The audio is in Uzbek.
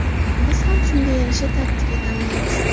Biz ham shunga yarasha taktika tanlaymiz.